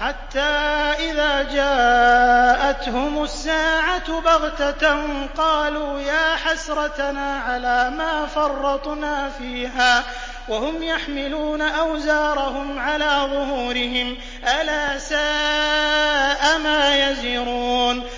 حَتَّىٰ إِذَا جَاءَتْهُمُ السَّاعَةُ بَغْتَةً قَالُوا يَا حَسْرَتَنَا عَلَىٰ مَا فَرَّطْنَا فِيهَا وَهُمْ يَحْمِلُونَ أَوْزَارَهُمْ عَلَىٰ ظُهُورِهِمْ ۚ أَلَا سَاءَ مَا يَزِرُونَ